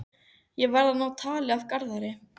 Ég verð að ná tali af Garðari.